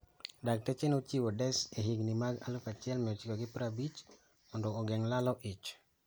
Dakteche nochiwo DES ehigni mag 1950 mndo ogeng' lalo ich.